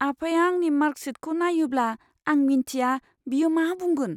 आफाया आंनि मार्कशीटखौ नायोब्ला, आं मिन्थिया बियो मा बुंगोन।